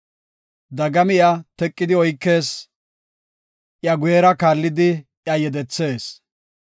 Dagami iya teqidi oykees; iya guyera kaallidi iya yedethees.